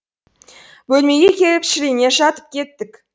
бөлмеге келіп шірене жатып кеттік